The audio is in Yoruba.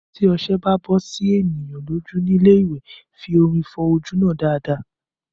Tí ọṣẹ bá bọ sí ènìyàn lójú ní ilé ìwẹ̀, fi omi fọ ojú náà dáadáa